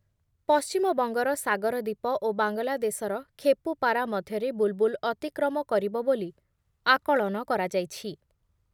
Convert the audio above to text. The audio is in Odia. ପଶ୍ଚିମବଙ୍ଗର ସାଗରଦୀପ ଓ ବାଙ୍ଗଲାଦେଶର ଖେପୁପାରା ମଧ୍ୟରେ ବୁଲ୍‌ବୁଲ୍ ଅତିକ୍ରମ କରିବ ବୋଲି ଆକଳନ କରାଯାଇଛି ।